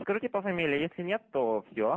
скажите по фамилии если нет то все